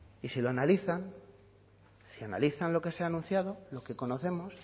y si lo analizan si analizan lo que se ha anunciado lo que conocemos